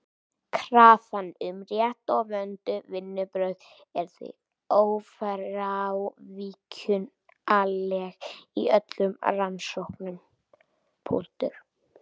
Krafan um rétt og vönduð vinnubrögð er því ófrávíkjanleg í öllum rannsóknum.